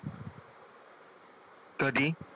कधी?